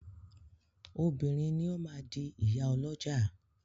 Obìnrin ni ó máa di ìyá ọlọ́jà.